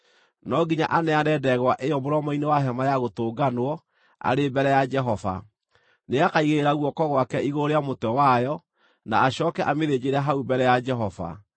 No nginya aneane ndegwa ĩyo mũromo-inĩ wa Hema-ya-Gũtũnganwo arĩ mbere ya Jehova. Nĩakaigĩrĩra guoko gwake igũrũ rĩa mũtwe wayo, na acooke amĩthĩnjĩre hau mbere ya Jehova.